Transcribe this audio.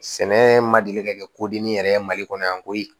Sɛnɛ ma deli ka kɛ kodimi yɛrɛ ye mali kɔnɔ yan koyi